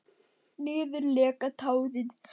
Niður leka tárin.